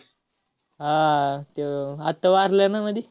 हा आह त्यो आत्ता वारला ना मधी?